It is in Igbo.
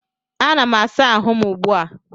Anam asa ahụ m ugbu a